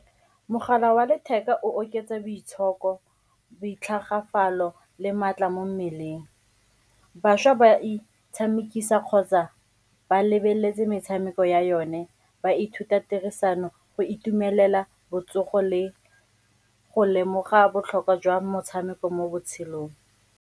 Mogala wa letheka o oketsa boitshoko, boitlhamelo le maatla mo mmeleng. Bašwa ba itshamekisa kgotsa ba lebeletse metshameko ya yone, ba ithuta tirisano, go itumelela botsogo le go lemoga botlhokwa jwa motshameko mo botshelong.